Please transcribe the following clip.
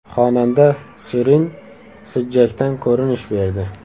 Xonanda Shirin Sijjakdan ko‘rinish berdi.